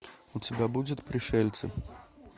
у тебя будет пришельцы